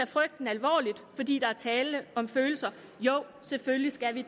frygten alvorligt fordi der er tale om følelser jo selvfølgelig skal vi